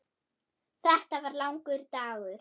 Þetta var langur dagur.